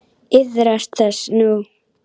Iðrast þess nú.